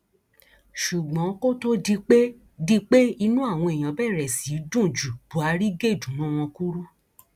ṣùgbọn kó tóó di pé di pé inú àwọn èèyàn bẹrẹ sí í dùn ju buhari gé ìdùnnú wọn kúrú